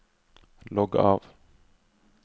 logg av